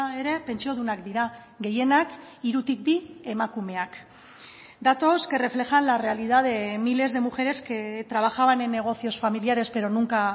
ere pentsiodunak dira gehienak hirutik bi emakumeak datos que reflejan la realidad de miles de mujeres que trabajaban en negocios familiares pero nunca